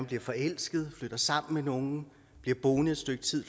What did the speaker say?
bliver forelsket flytter sammen med nogen bliver boende et stykke tid